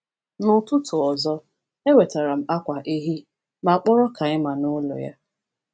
N’ụtụtụ ọzọ, ewetara m akwa ehi ma kpọrọ Kaima na ụlọ ya.